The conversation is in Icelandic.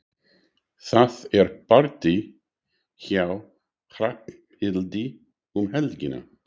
Það er partí hjá Hrafnhildi um helgina.